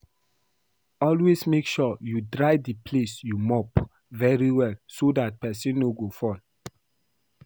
Always make sure you dry the place you mop very well so dat person no go fall